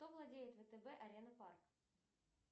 кто владеет втб арена парк